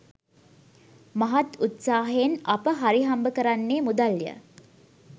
මහත් උත්සාහයෙන් අප හරිහම්බ කරන්නේ මුදල් ය.